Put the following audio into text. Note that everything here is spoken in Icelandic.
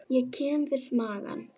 Ég kem við magann.